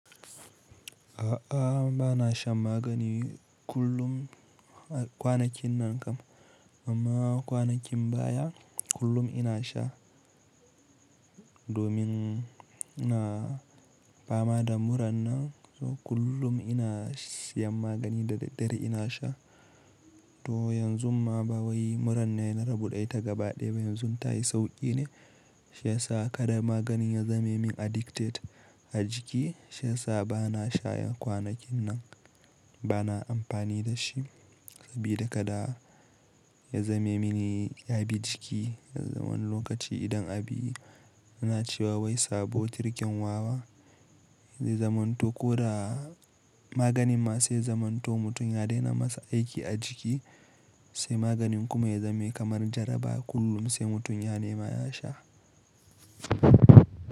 A'a, ba na sha magani kullum kwanakin nan kam, amma kwanakin baya kullum ina sha domin ina fama da muran nan, so kullum ina siyan magani da daddare ina sha. To yanzu ma ba wai muran ne na rubuta ta gaba ɗaya ba, yanzu tayi sauƙi ne, shi yasa kada maganin ya zame min addicted a jiki, shi yasa ba na shayan kwanakin nan, ba na amfani da shi. Sabida kada ya zame mini ya bi jiki, yanzun wani lokaci idan abi ana cewa wai sabo tirken wawa zai zamanto ko da maganin ma sai zamanto mutum ya daina masa aiki a jiki sai maganin kuma ya zame kamar jaraba kullum sai mutum ya nema ya sha.